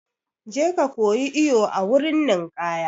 Je ka koyi iwo a wurin ninkaya!